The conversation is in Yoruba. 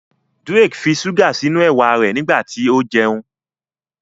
Drake fí ṣuga sínú ewa rẹ nígbàtí o jẹun.